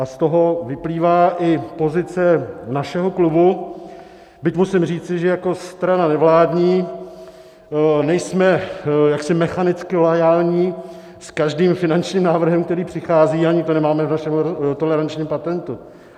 A z toho vyplývá i pozice našeho klubu, byť musím říci, že jako strana nevládní nejsme jaksi mechanicky loajální s každým finančním návrhem, který přichází, ani to nemáme v našem tolerančním patentu.